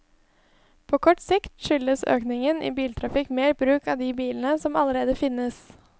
På kort sikt skyldes økningen i biltrafikk mer bruk av de bilene som allerede finnes.